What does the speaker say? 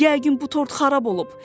Yəqin bu tort xarab olub.